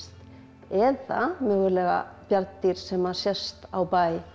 eða mögulega bjarndýr sem að sést á bæ